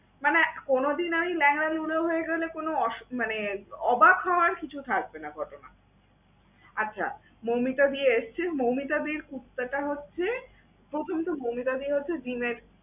মানে কোনদিন আমি ল্যাংড়া লুলা হয়ে গেলে কোন অসু~ মানে অবাক হওয়ার কিছু থাকবে না ঘটনা। আচ্ছা মৌমিতাদি এসছে, মৌমিতাদির কুত্তাটা হচ্ছে প্রথমত মৌমিতাদি হচ্ছে gym এর